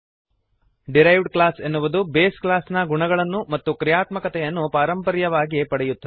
derived class ಎನ್ನುವುದು base class ನ ಗುಣಗಳನ್ನು ಮತ್ತು ಕ್ರಿಯಾತ್ಮಕತೆಯನ್ನು ಪಾರಂಪರ್ಯವಾಗಿ ಇನ್ಹೆರಿಟ್ ಪಡೆಯುತ್ತದೆ